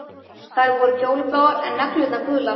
Þær voru fjólubláar, en neglurnar gular.